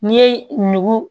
N'i ye nugu